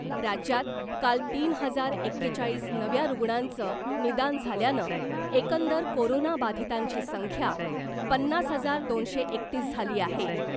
राज्यात काल तीन हजार एकेचाळीस नव्या रुग्णांचं निदान झाल्यानं एकंदर कोरोना बाधितांची संख्या पन्नास हजार दोनशे एकतीस झाली आहे .